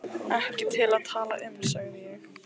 Ekki til að tala um, sagði ég.